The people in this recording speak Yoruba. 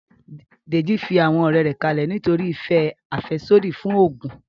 Dèjì fi àwọn ọ̀rẹ́ rẹ̀ kalẹ̀ nítorí ìfẹ́ àfẹ́sódì fún oògùn